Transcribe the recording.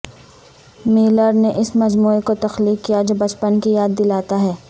Miller نے اس مجموعہ کو تخلیق کیا جو بچپن کی یاد دلاتا ہے